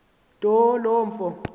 nto lo mfo